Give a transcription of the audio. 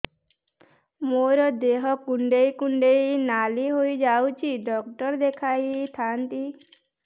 ମୋର ଦେହ କୁଣ୍ଡେଇ କୁଣ୍ଡେଇ ନାଲି ହୋଇଯାଉଛି ଡକ୍ଟର ଦେଖାଇ ଥାଆନ୍ତି